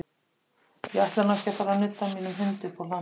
Ég ætla nú ekki að fara að nudda mínum hundi uppúr hlandi.